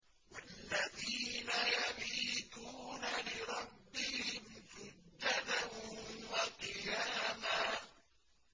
وَالَّذِينَ يَبِيتُونَ لِرَبِّهِمْ سُجَّدًا وَقِيَامًا